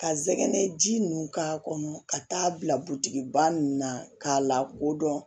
Ka sɛgɛn ji nun k'a kɔnɔ ka taa bila ba ninnu na k'a lakodɔn